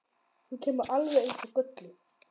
Þú kemur alveg eins og kölluð!